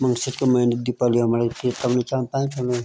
मंगसिर क मैना म दीपाली हमडे --